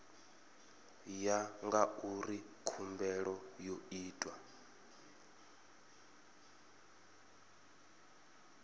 ya ngauri khumbelo yo itwa